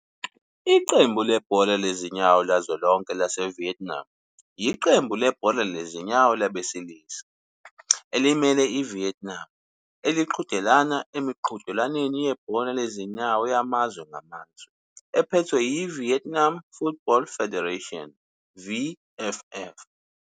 Iqembu lebhola lezinyawo likazwelonke lase-Vietnam yiqembu lebhola lezinyawo labesilisa elimele iVietnam eliqhudelana emiqhudelwaneni yebhola lezinyawo yamazwe ngamazwe, ephethwe yi-Vietnam Football Federation, VFF,